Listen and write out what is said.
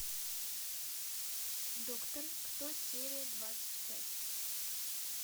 доктор кто серия двадцать пять